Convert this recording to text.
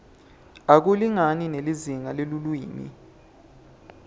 akulingani nelizingaa lelulwimi